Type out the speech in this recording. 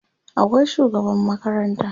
akwai shugaban makaranta